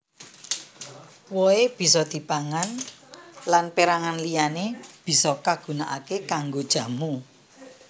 Wohé bisa dipangan lan pérangan liyané bisa kagunakaké kanggo jamu